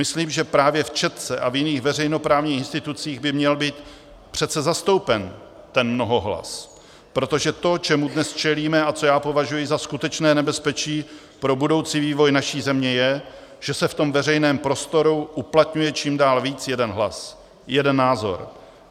Myslím, že právě v Četce a v jiných veřejnoprávních institucích by měl být přece zastoupen ten mnohohlas, protože to, čemu dnes čelíme a co já považuji za skutečné nebezpečí pro budoucí vývoj naší země, je, že se v tom veřejném prostoru uplatňuje čím dál víc jeden hlas, jeden názor.